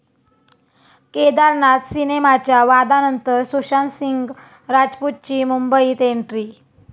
केदारनाथ सिनेमाच्या वादानंतर सुशांत सिंग राजपूतची मुंबईत एंट्री